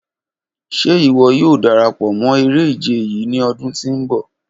Ṣe iwọ yoo darapọ mọ ere-ije yii ni ọdun ti n bọ?